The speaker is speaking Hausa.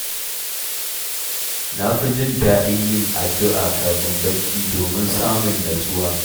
Na fi jin daɗin yin addu’a kafin barci, domin samun natsuwa.